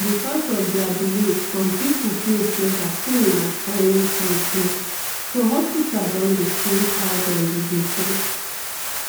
because of their beliefs some people feel sey vaccine na foreign control so hospital don dey change how dem dey do things